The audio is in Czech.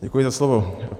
Děkuji za slovo.